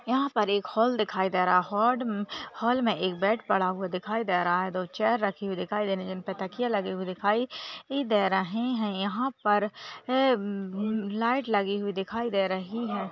यहाँ पर एक हॉल दिखाई दे रहा है होड हॉल मे के बेड पड़ा हुआ दिखाई दे रहा है दो चेअर राखी हुई दिखाई दे रही है इनपे तकिये लगी हुई दिखाई दे रही है यहाँ पर लाइट लगी हुई दिखाई दे रही है।